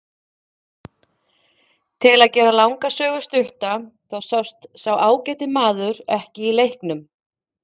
Til að gera langa sögu stutta þá sást sá ágæti maður ekki í leiknum.